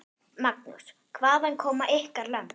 Magnús: Hvaðan koma ykkar lömb?